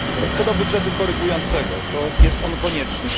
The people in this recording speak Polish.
Co do budżetu korygującego, to jest on konieczny.